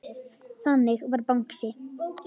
Þannig var Bangsi.